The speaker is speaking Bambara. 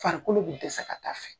Farikolo be dɛsɛ ka taa fɛ.